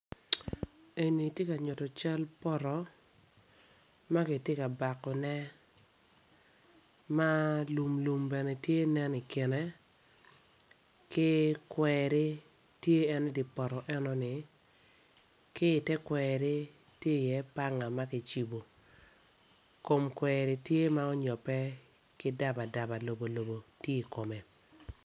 Eni tye ka nyuto cal poto ma kitye kabakone ma lumlum bene tye nen i kine ki kweri tye en i poto enoni ki i te kweri tye iye panga ma kicibu kom kweri tye ma ontobbe ki dabadaba lobo lobo tye i kome.